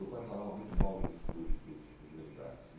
Meu pai falava muito mal dos dos dos dos militares.